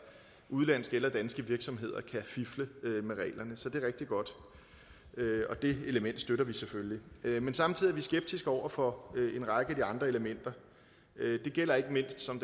udenlandske eller danske virksomheder kan fifle med reglerne så det er rigtig godt og det element støtter vi selvfølgelig men samtidig er vi skeptiske over for en række andre elementer det gælder ikke mindst som